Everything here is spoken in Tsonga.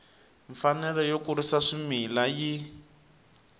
mfanelo yo kurisa swimila yi